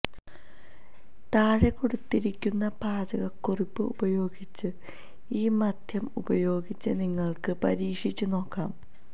താഴെ കൊടുത്തിരിക്കുന്ന പാചകക്കുറിപ്പ് ഉപയോഗിച്ച് ഈ മദ്യം ഉപയോഗിച്ച് നിങ്ങൾക്ക് പരീക്ഷിച്ചുനോക്കാം